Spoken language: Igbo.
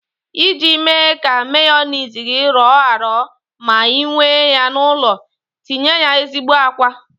Iji mee ka meyoniz gi rọọ arọ ma ị mewe ya n'ụlọ, tinye ya ezigbo àkwá.